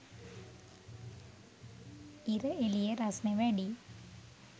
ඉර එළිය රස්නෙ වැඩියි